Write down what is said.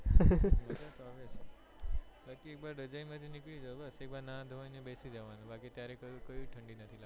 મજજા તો આવે બાકી એક વાર રજાઈ માંથી નીકળી જાઓ બસ એક વાર નાહી ધોઈ ને બેસી જવાનું બાકી ત્યારે કોઈ ઠંડી નથી લગતી